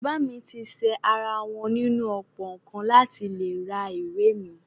Bàbá mi ti ṣẹ́ ara wọn nínú ọ̀pọ̀ nǹkan láti lè ra ìwé mi.